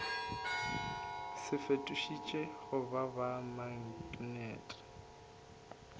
se fetošitšwego go ba maknete